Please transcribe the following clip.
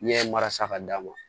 Ɲɛ mara sa ka d'a ma